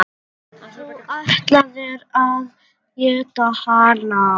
Þú ætlaðir að éta hana.